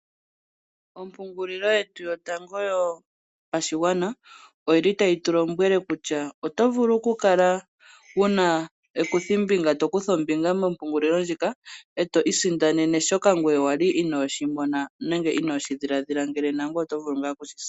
Ompungulilo yetu yatango yopashigwana oyili tayi tulombwele kutya otovulu okukala wuna ekuthombinga, tokutha ombinga mompungulilo ndjika eto isindanene shoka wali ngoye inoshimona nenge inoshidhiladhila ngele nangoye oto vulu ngaa okushi sindana.